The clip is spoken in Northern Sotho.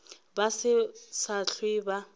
ba se sa hlwe ba